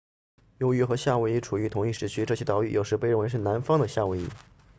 由于和夏威夷处于同一时区这些岛屿有时被认为是南方的夏威夷